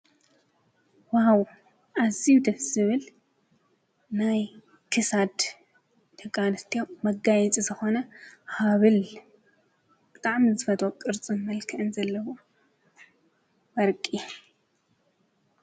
ዋው! እዝዩ ደስ ዝብል ናይ ክሳድ ደቂ አንስትዮ መጋየፂ ዝኾነ ሃበል ብጣዕሚ ዝፈትዎ ቅርፅን መልክዕን ዘለዎ ወርቂ።